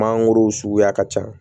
Mangoro suguya ka ca